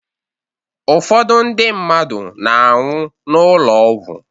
Ụfọdụ ndi mmadụ na-anwụ n'ụlọ ọgwụ